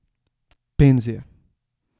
Penzije.